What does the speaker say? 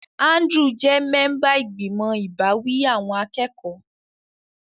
Andrew jẹ́ mẹ́ńbà ìgbìmọ̀ ìbáwí awọn akẹ́kọ̀ọ́.